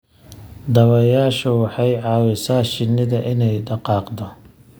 Dabayshu waxay caawisaa shinida inay dhaqaaqdo.